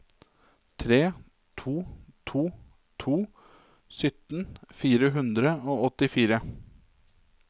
tre to to to sytten fire hundre og åttifire